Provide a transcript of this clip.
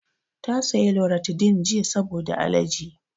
Ta saya loratadin jiya saboda alerji